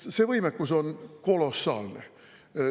See võimekus on kolossaalne.